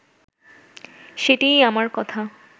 সেটিই আমার কথা